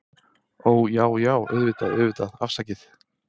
Ó, Já, já, auðvitað, auðvitað, afsakið